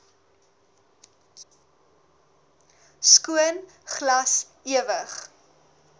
skoon glas ewig